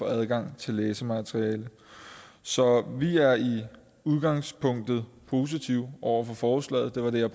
adgang til læsemateriale så vi er i udgangspunktet positive over for forslaget det var det jeg